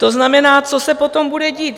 To znamená, co se potom bude dít?